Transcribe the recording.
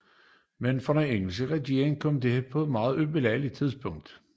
Men for den engelske regering kom dette på et ubelejligt tidspunkt